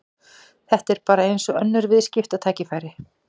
Þetta er bara eins og önnur viðskiptatækifæri.